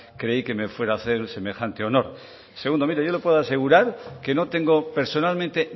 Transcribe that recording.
creí que me fuera a hacer semejante honor segundo mire yo le puedo asegurar que no tengo personalmente